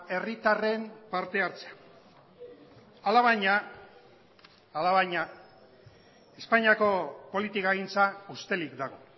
herritarren partehartzea alabaina alabaina espainiako politikagintza ustelik dago